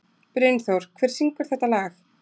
Brynþór, hver syngur þetta lag?